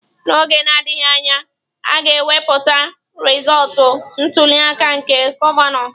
N'oge na-adịghị anya, a ga-ekwupụta rizọọtụ ntuli aka nke gọvanọ.